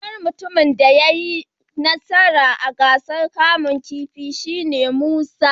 Sunan mutumin da ya yi nasara a gasar kamun kifi shi ne Musa.